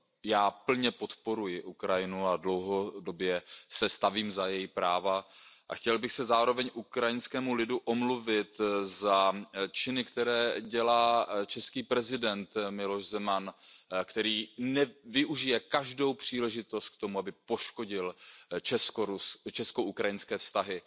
Já plně podporuji Ukrajinu a dlouhodobě se stavím za její práva a chtěl bych se zároveň ukrajinskému lidu omluvit za činy, které dělá český prezident Miloš Zeman, který využije každou příležitost k tomu, aby poškodil česko ukrajinské vztahy.